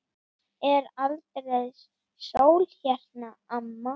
Er aldrei sól hérna, amma?